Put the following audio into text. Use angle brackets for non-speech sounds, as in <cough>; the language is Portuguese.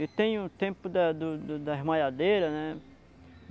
E tem o tempo da do do da, <unintelligible> né?